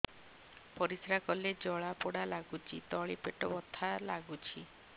ପରିଶ୍ରା କଲେ ଜଳା ପୋଡା ଲାଗୁଚି ତଳି ପେଟ ବଥା ଲାଗୁଛି